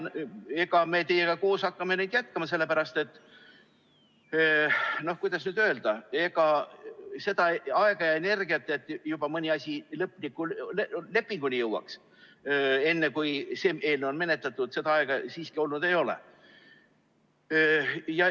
Eks me teiega koos hakkame neid jätkama, sellepärast et, kuidas nüüd öelda, ega seda aega ja energiat, et mõni asi juba lõpliku lepinguni jõuaks, enne kui see eelnõu on menetletud, siiski olnud ei ole.